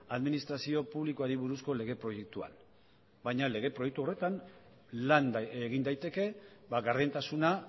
administrazio publikoari buruzko lege proiektuan baina lege proiektu horretan lan egin daiteke gardentasuna